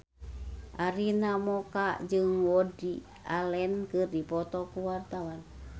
Arina Mocca jeung Woody Allen keur dipoto ku wartawan